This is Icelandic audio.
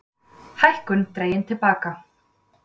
Hækkun dregin til baka